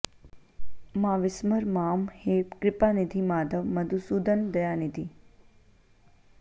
मा विस्मर मां हे कृपानिधि माधव मधुसूदन दयानिधि